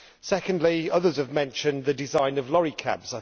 Secondly, others have mentioned the design of lorry cabs